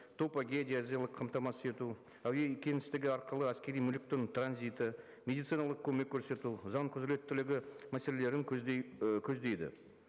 топогеодезиялық қамтамасыз ету әуе кеңістігі арқылы әскери мүліктің транзиті медициналық көмек көрсету заң құзыреттілігі мәселелерін і көздейді